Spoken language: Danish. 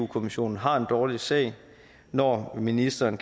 kommissionen har en dårlig sag når ministeren